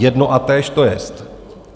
Jedno a totéž to jest.